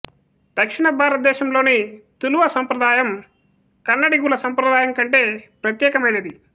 దక్షిణ భారతదేశంలోని తులువ సంప్రదాయం కన్నడిగుల సంప్రదాయం కంటే ప్రత్యేకమైనది